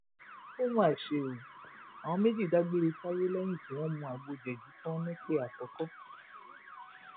ó mà ṣe o àwọn méjì dágbére fáyé lẹyìn tí wọn mú agbo jẹji tán nìpè àkọkọ